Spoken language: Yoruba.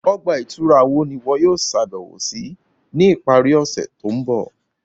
Ọgba-ìturá wo ni iwọ yóò ṣabẹwo si ni ipari ọse to nbọ?